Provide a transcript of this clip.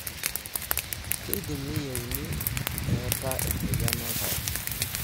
kindim neyiuni eeta emoyian oltau.